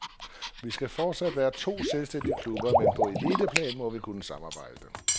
Vi skal forsat være to selvstændige klubber, men på eliteplan må vi kunne samarbejde.